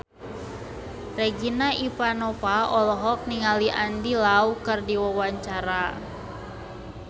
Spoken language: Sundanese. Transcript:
Regina Ivanova olohok ningali Andy Lau keur diwawancara